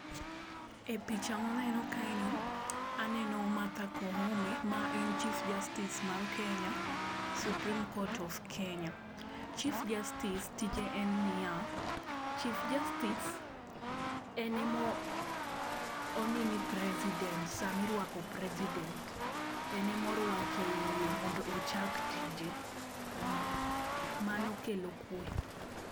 E picha maneno kae ni aneno Martha Koome maen Chief Justice mar Kenya, Supreme court of Kenya, Chief justice tije en niya, chief justice en ema onini president, sama irwako president, en ema orwake iye mondo ochak tije, mmh, mano kelo kwee